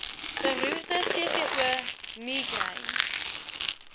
beroerte cvo migraine